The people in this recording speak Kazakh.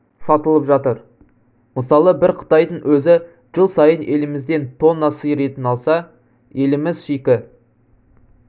сатылып жатыр мысалы бір қытайдың өзі жыл сайын елімізден тонна сиыр етін алса еліміз шикі